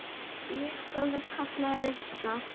Ég sá það. kallaði Rikka.